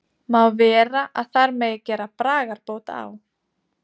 Má vera að þar megi gera bragarbót á?